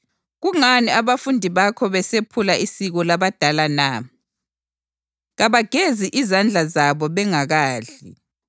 “Kungani abafundi bakho besephula isiko labadala na? Kabagezi izandla zabo bengakadli!”